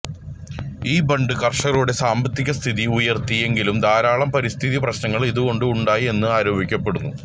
ഈ ബണ്ട് കർഷകരുടെ സാമ്പത്തികസ്ഥിതി ഉയർത്തി എങ്കിലും ധാരാളം പരിസ്ഥിതി പ്രശ്നങ്ങൾ ഇതുകൊണ്ട് ഉണ്ടായി എന്ന് ആരോപിക്കപ്പെടുന്നു